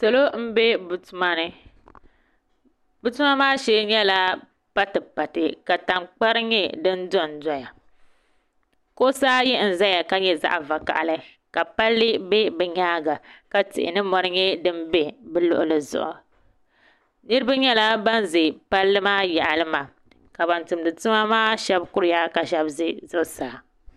Salo n bɛ bi tuma ni bi tuma maa shee nyɛla pati pati ka tankpari nyɛ din dondoya kuɣusi ayi n ʒɛya ka nyɛ zaɣ vakaɣali ka palli bɛ bi nyaanga ka tihi ni mori nyɛ din bɛ bi luɣuli zuɣu niraba nyɛla ban ʒɛ palli maa yaɣali maa ka ban tumdi tuma maa shab kuriya ka shab ʒɛ zuɣusaa